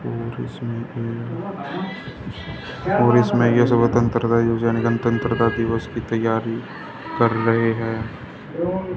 और इसमे और इसमें यह स्वतंत्रता योजना योजा निगम स्वतंत्रता तंत्रता दिवस की तैयारी कर रहे हैं।